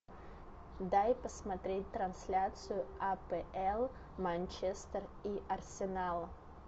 дай посмотреть трансляцию апл манчестер и арсенал